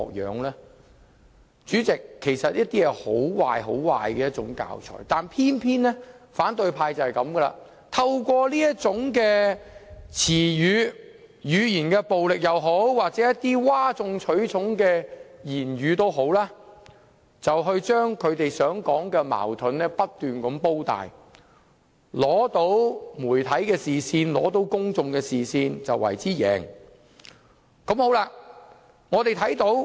代理主席，這是很壞的教材，但偏偏反對派就是這樣，透過這種詞語、語言暴力或譁眾取寵的言論，把他們口中的矛盾不斷"煲大"，吸引到媒體及公眾視線，便為之贏。